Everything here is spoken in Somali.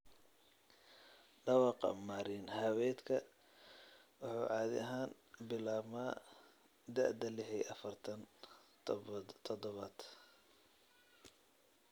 Dhawaaqa marin-haweedka wuxuu caadi ahaan bilaabmaa da'da lix iyo afartan toddobaad.